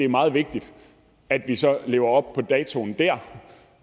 meget vigtigt at vi så levede op på datoen der